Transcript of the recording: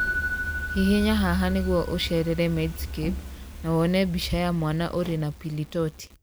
Hihinya haha nĩguo ũceerere Medscape na wone mbica ya mwana ũrĩ na pili torti.